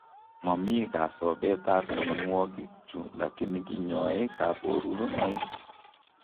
Momii kasobeet ab mionwokikchu lakini kinyoee kaborunoik